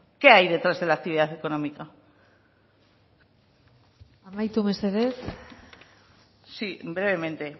qué hay detrás de la actividad económica amaitu mesedez sí brevemente